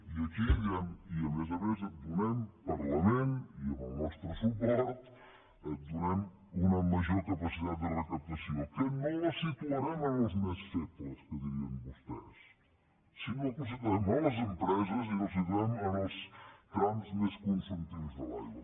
i aquí diem i a més a més et donem parlament i amb el nostre suport una major capacitat de recaptació que no la situarem en els més febles que dirien vostès sinó que la situem a les empreses i la situem en els trams més consumptius de l’aigua